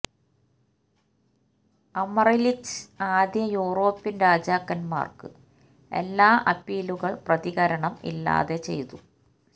Amalric ആദ്യ European രാജാക്കന്മാർക്ക് എല്ലാ അപ്പീലുകൾ പ്രതികരണം ഇല്ലാതെ ചെയ്തു